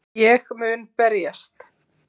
Ég mun berjast.